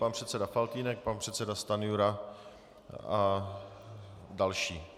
Pan předseda Faltýnek, pan předseda Stanjura, a další.